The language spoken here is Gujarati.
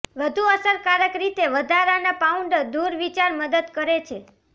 વધુ અસરકારક રીતે વધારાના પાઉન્ડ દૂર વિચાર મદદ કરે છે